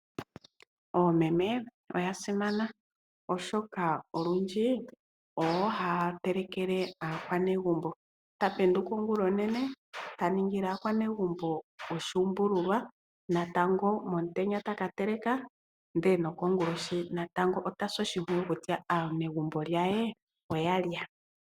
Oomeme oya simana oshoka olundji oyo haya telekele aakwanegumbo, ta penduka ongulonene ta ningile aakwanegumbo oshuumbululwa natango momutenya taka teleka ndele nokongulohi ota si oshimpwiyu kutya aanegumbo lye oya lya.